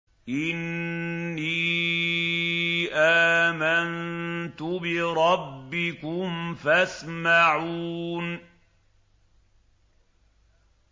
إِنِّي آمَنتُ بِرَبِّكُمْ فَاسْمَعُونِ